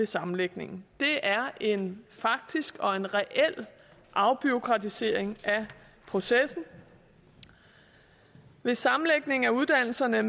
sammenlægning det er en faktisk og en reel afbureaukratisering af processen hvis sammenlægningen af uddannelserne